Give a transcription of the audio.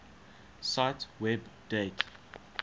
cite web date